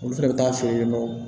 Olu fɛnɛ bɛ taa feere yennɔ